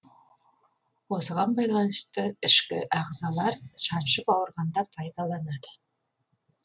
осыған байланысты ішкі ағзалар шаншып ауырғанда пайдаланады